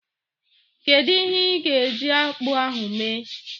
Kedu ihe ị ga-eji akpụ ahu mee?